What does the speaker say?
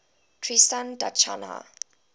tristan da cunha